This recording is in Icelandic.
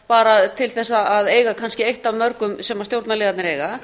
bara til þess að eiga kannski eitt af mörgum sem stjórnarliðarnir eiga